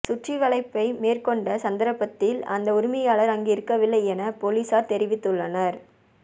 சுற்றிவளைப்பை மேற்கொண்ட சந்தர்ப்பத்தில் அதன் உரிமையாளர் அங்கிருக்கவில்லை என பொலிஸார் தெரிவித்துள்ளனர்